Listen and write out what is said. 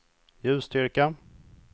ljusstyrka